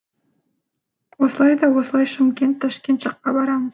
осылай да осылай шымкент ташкент жаққа барамын